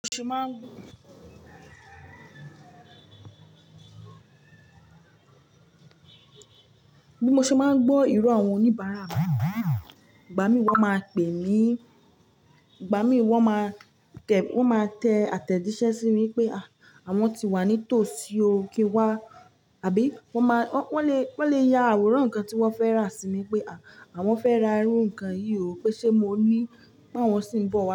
Bí mo ṣe máa ń gbó, bí mo ṣe máa ń gbó iro àwọn oníbàárà mi, ìgbà mí wọ́n máa pẹ̀ mí, ìgbà mí wọ́n máa tẹ àtẹ̀jíṣẹ́ sí mi pé àwọn ti wà ní tòsí ò ki n wá àbí wọ́n ma wọ́n le ya àwòrán ǹkan tí wọ́n fẹ́ rà sí mi pé àwọn fẹ́ ra irú ǹkan yìí o pé ṣe mo ní pe awọ́n sì ń bọ̀